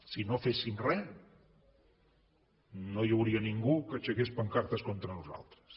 si no féssim re no hi hauria ningú que aixequés pancartes contra nosaltres